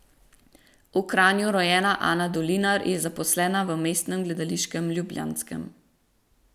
V Kranju rojena Ana Dolinar je zaposlena v Mestnem gledališču ljubljanskem.